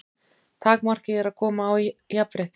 Takmarkið er að koma á jafnrétti.